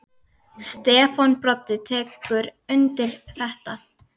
Stefán Broddi tekur undir þetta.